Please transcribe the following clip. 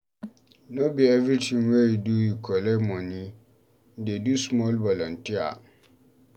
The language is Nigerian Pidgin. No be everytin wey you do you collect moni, dey do small volunteer.